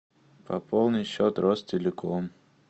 пополни счет ростелеком